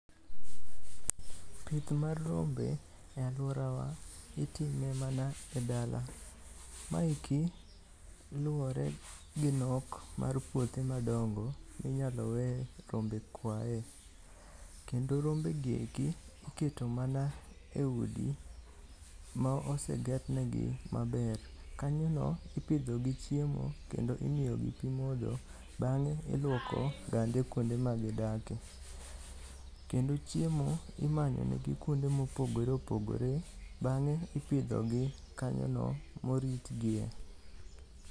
Pith mar rombe e alworawa itime mana e dala. Maeki luwore gi nok mar puothe madongo minyalo weye rombe kwae. Kendo rombegi eki iketo mana e udi ma osegernegi maber. Kanyono ipidhogi chiemo kendo imiyogi pi modho bang'e ilwoko gande kuonde magidake. Kendo chiemo imanyonegi kuonde mopogore opogore bang'e ipidhogi kanyono moritgie.